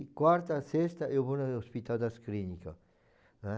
E quarta, sexta eu vou no Hospital das Clínica, né?